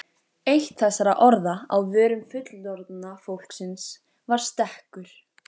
Eitt þessara orða á vörum fullorðna fólksins var stekkur.